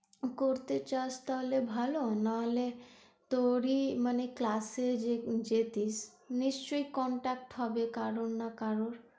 করতে চাস তাহলে ভালো নাহলে তোর ই মানে class এ যেতিস নিশ্চয়ই contact হবে কারোর না কারোর।